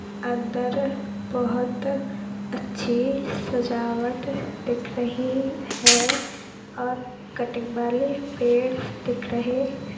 अंदर बहोत अच्छी सजावट दिख रही है औऱ कटिंग वाले पेड़ दिख रहे हैं।